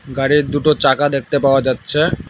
গাড়ির দুটো চাকা দেখতে পাওয়া যাচ্ছে।